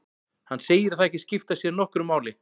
Hann segir það ekki skipta sér nokkru máli.